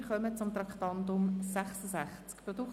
Wir kommen zum Traktandum 66: